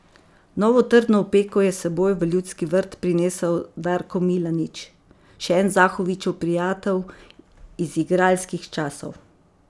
Novo trdno opeko je s seboj v Ljudski vrt prinesel Darko Milanič, še en Zahovićev prijatelj iz igralskih časov.